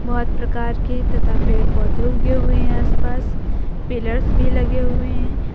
बहोत प्रकार के तथा पेड़ पौधे उगे हुए हैं आसपास पिलर्स भी लगे हुए हैं।